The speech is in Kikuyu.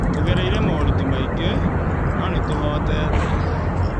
Tũgereire moritũ maingĩ, no nĩtũhotete.